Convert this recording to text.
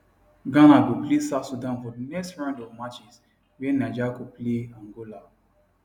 ghana go play south sudan for di next round of matches wia niger go play angola